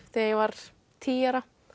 þegar ég var tíu ára